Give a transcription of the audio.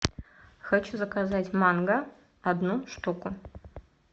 хочу заказать манго одну штуку